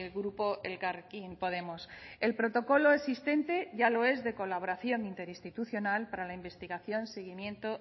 grupo elkarrekin podemos el protocolo existente ya lo es de colaboración interinstitucional para la investigación seguimiento